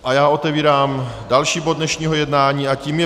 A já otevírám další bod dnešního jednání a tím je